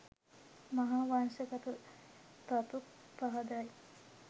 මහාවංශගත තතු පහදයි.